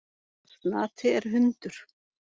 Snati er hundur.